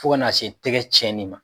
Fo ka na se tɛgɛ cɛnin ma.